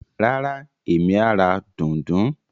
Rárá, Emi a ra dùndún.